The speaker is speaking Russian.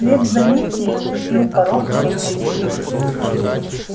вслед за ним переступил порог кто-то ещё